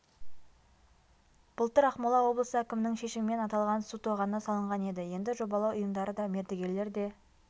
былтыр ақмола облысы әкімінің шешімімен аталған су тоғаны салынған еді енді жобалау ұйымдары да мердігерлер де